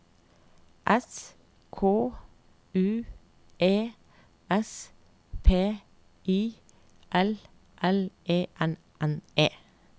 S K U E S P I L L E R N E